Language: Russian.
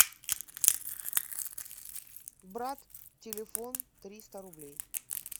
брат телефон триста рублей